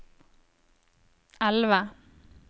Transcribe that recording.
elve